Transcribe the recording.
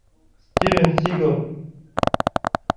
стивен сигал